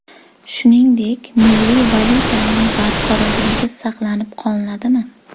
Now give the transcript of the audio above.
Shuningdek, milliy valyutaning barqarorligi saqlanib qoladimi?